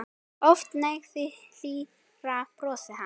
Oft nægði hlýja brosið hans.